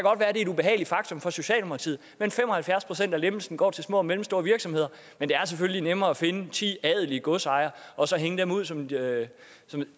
er et ubehageligt faktum for socialdemokratiet men fem og halvfjerds procent af lempelsen går til små og mellemstore virksomheder men det er selvfølgelig nemmere at finde ti adelige godsejere og så hænge dem ud som om det